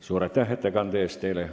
Suur aitäh ettekande eest!